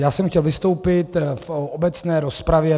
Já jsem chtěl vystoupit v obecné rozpravě.